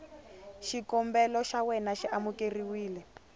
xikombelo xa wena xi amukeriwile